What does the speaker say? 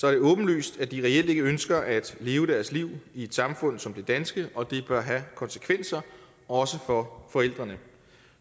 er det åbenlyst at de reelt ikke ønsker at leve deres liv i et samfund som det danske og det bør have konsekvenser også for forældrene